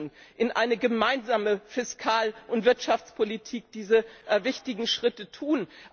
Wir müssen in einer gemeinsamen Fiskal und Wirtschaftspolitik diese wichtigen Schritte tun.